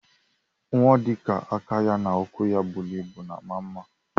Nwa odika aka ya na ụkwụ ya buru ibu na ama mma.